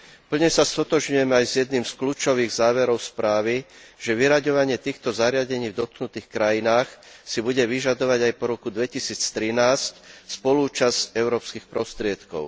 Plne sa stotožňujem aj s jedným z kľúčových záverov správy, že vyraďovanie týchto zariadení v dotknutých krajinách si bude vyžadovať aj po roku 2013 spoluúčasť európskych prostriedkov.